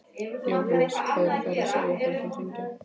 Jóhannes: Hvað eru þær að segja þegar þær hringja?